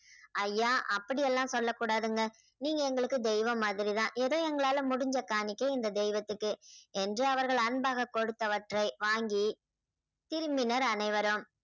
ஐயா அப்படியெல்லாம் சொல்லக்கூடாதுங்க நீங்க எங்களுக்கு தெய்வம் மாதிரிதான் ஏதோ எங்களால முடிஞ்ச காணிக்கை இந்த தெய்வத்துக்கே என்று அவர்கள் அன்பாக கொடுத்தவற்றை வாங்கி திரும்பினர் அனைவரும்.